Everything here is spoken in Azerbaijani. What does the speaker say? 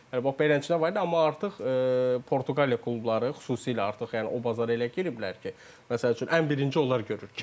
Yəni bax beləsinə var idi, amma artıq Portuqaliya klubları xüsusilə artıq yəni o bazara elə giriblər ki, məsəl üçün ən birinci onlar görür.